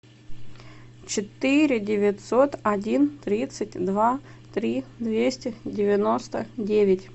четыре девятьсот один тридцать два три двести девяносто девять